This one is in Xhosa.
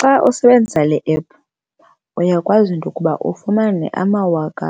Xa usebenzisa le ephu uyakwazi into yokuba ufumane amawaka